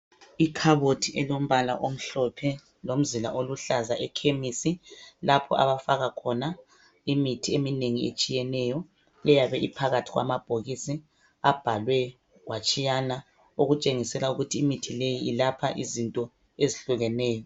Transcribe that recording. Ikhabothi alombala amhlophe lomzila oluhlaza ekhemesi lapho abafaka khona imithi eminengi etshiyeneyo eyabe iphakathi kwamabhokisi abhalwe kwatshiyana. Okutshengisela ukuthi imithi leyi yelapha izinto ezihlukeneyo.